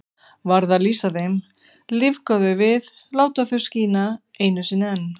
Varð að lýsa þeim, lífga þau við, láta þau skína einu sinni enn.